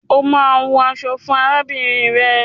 O máa hun aṣọ fún arábìnrin rẹ.